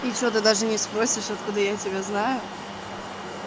и что ты даже не спросишь откуда я тебя знаю